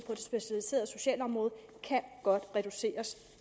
det specialiserede socialområde kan godt reduceres